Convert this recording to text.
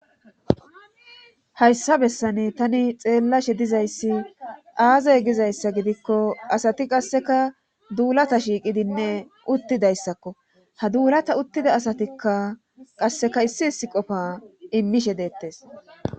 Hayssa bessani tani xeellashe dizayssi aazay gizayssa gidikko asati qasseka duulata shiiqidinne uttidayssakko ha duulata uttida asatikka qasseka issi issi qofa immishe deettes.